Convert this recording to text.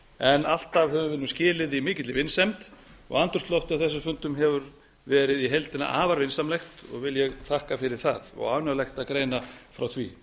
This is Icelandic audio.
en alltaf höfum við nú skilið í mikilli vinsemd og andrúmsloftið á þessum fundum hefur verið í heildina afar vinsamlegt og vil ég þakka fyrir það og ánægjulegt að greina frá því